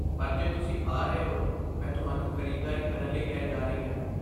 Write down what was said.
ਪਰ ਜੇ ਤੁਸੀਂ ਆ ਰਹੇ ਹੋ, ਮੈਂ ਤੁਹਾਨੂੰ ਖਰੀਦਦਾਰੀ ਕਰਨ ਲਈ ਲੈ ਜਾ ਰਹੀ ਹਾਂ।